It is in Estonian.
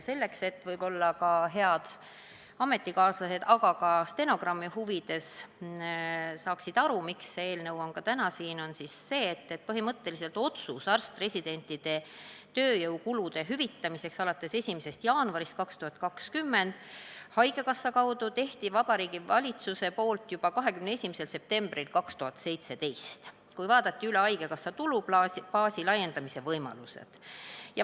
Selleks, et ka head ametikaaslased saaksid aru, miks see eelnõu on täna siin, aga ka stenogrammi huvides ütlen, et otsuse arst-residentide tööjõukulude hüvitamiseks haigekassa kaudu alates 1. jaanuarist 2020 tegi Vabariigi Valitsus põhimõtteliselt juba 21. septembril 2017, kui vaadati üle haigekassa tulubaasi laiendamise võimalused.